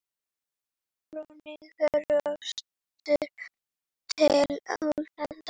frá Nígeríu austur til Úganda.